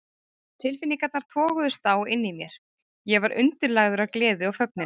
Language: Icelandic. Tilfinningarnar toguðust á inni í mér: Ég var undirlagður af gleði og fögnuði